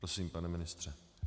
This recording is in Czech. Prosím, pane ministře.